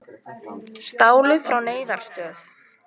Stálu frá neyðaraðstoð